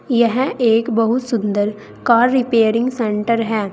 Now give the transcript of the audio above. यह एक बहुत सुंदर कार रिपेयरिंग सेंटर है।